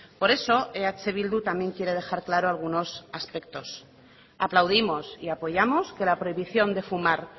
por eso eh bildu también quiere dejar claro algunos aspectos aplaudimos y apoyamos que la prohibición de fumar